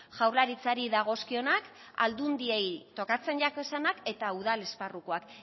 jaurlaritzari dagozkionak aldundiei tokatzen jakezanak eta udal esparrukoak